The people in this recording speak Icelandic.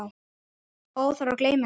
Óþarfi að gleyma henni!